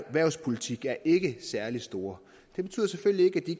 erhvervspolitik er ikke særlig store det betyder selvfølgelig ikke at de